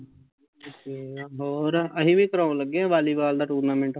ਹੋਰ ਅਸੀਂ ਵੀ ਕਰਾਉਣ ਲੱਗੇ ਆ ਵਾਲੀਵਾਲ ਦਾ tournament